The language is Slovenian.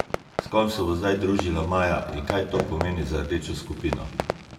S kom se bo zdaj družila Maja in kaj to pomeni za rdečo skupino?